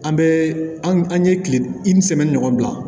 An bɛ an ye kile ɲɔgɔn bila